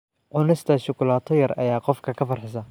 Cunista shukulaato yar ayaa qofka ka farxisa.